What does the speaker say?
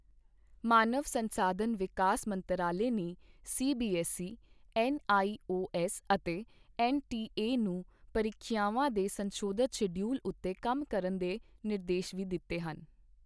ਮਾਨਵ ਸੰਸਾਧਨ ਵਿਕਾਸ ਮੰਤਰਾਲੇ ਨੇ ਸੀਬੀਐੱਸਈ, ਐੱਨਆਈਓਐੱਸ ਅਤੇ ਐੱਨਟੀਏ ਨੂੰ ਪ੍ਰੀਖਿਆਵਾਂ ਦੇ ਸੰਸ਼ੋਧਿਤ ਸ਼ਡਿਊਲ ਉੱਤੇ ਕੰਮ ਕਰਨ ਦੇ ਨਿਰਦੇਸ਼ ਵੀ ਦਿੱਤੇ ਹਨ।